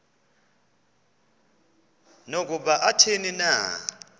nokuba athini na